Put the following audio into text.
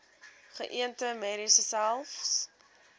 geënte merries selfs